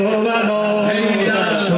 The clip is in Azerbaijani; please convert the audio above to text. Heydər zülmkar!